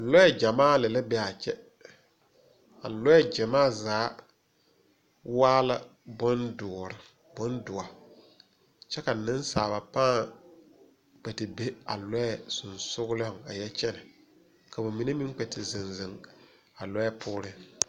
Lɔɛ gyamaa lɛ la beaa kyɛ a lɔɛ gyamaa zaa waa la bondoɔ kyɛ ka neŋsaaba pãã kpɛ te be a lɔɛ seŋsuglɔŋ a yɛ kyɛnɛ ka mine meŋ kpɛ te zeŋ zeŋ a lɔɛ poore.